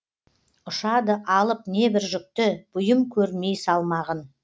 ұшады алып небір жүкті бұйым көрмей салмағын